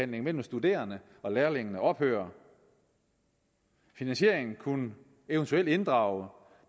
mellem studerende og lærlinge ophører finansieringen kunne eventuelt inddrage